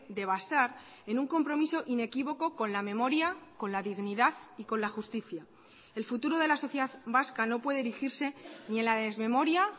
de basar en un compromiso inequívoco con la memoria con la dignidad y con la justicia el futuro de la sociedad vasca no puede erigirse ni en la desmemoria